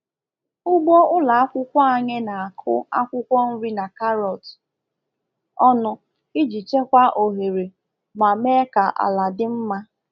Ugbo ụlọ akwụkwọ anyị na-akụ akwukwo nri na karọt ọnụ iji chekwaa ohere ma mee ka ala dị mma.